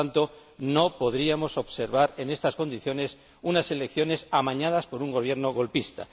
Por lo tanto, no podríamos observar, en estas condiciones, unas elecciones amañadas por un Gobierno golpista.